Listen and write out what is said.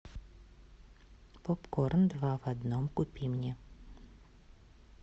попкорн два в одном купи мне